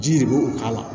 Ji de b'o k'a la